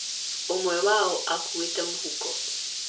Ũmwe wao aakuuĩte mũhuko.